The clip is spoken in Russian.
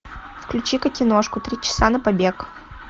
включи ка киношку три часа на побег